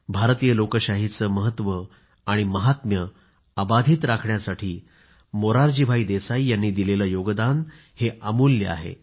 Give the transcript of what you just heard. भारतीय लोकशाहीचं महत्व महात्म्य अबाधित राखण्यासाठी मोरारजीभाई देसाई यांनी दिलेलं योगदान अमूल्य आहे